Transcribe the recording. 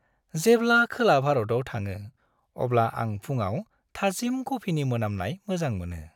जेब्ला खोला-भारताव थाङो, अब्ला आं फुंआव थाजिम कफिनि मोनामनाय मोजां मोनो।